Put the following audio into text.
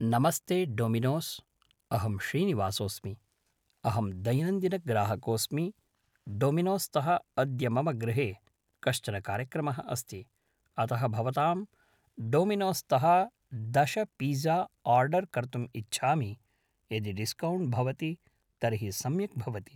नमस्ते डोमिनोस् अहं श्रीनिवासोऽस्मि अहं दैनन्दिनग्राहकोऽस्मि डामिनोस्तः अद्य मम गृहे कश्चन कार्यक्रमः अस्ति अतः भवतां डामिनोस्तः दश पीज़ा आर्डर्‌ कर्तुम् इच्छामि यदि डिस्कौण्ट् भवति तर्हि सम्यक् भवति